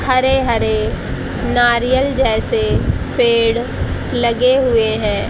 हरे हरे नारियल जैसे पेड़ लगे हुए हैं।